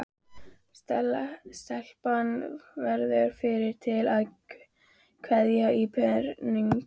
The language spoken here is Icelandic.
Stelpan verður fyrri til að kveikja á perunni.